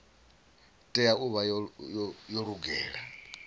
tea u vha yo lugela